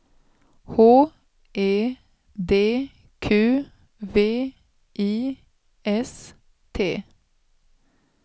H E D Q V I S T